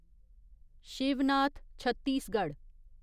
Shivnath Chhattisgarh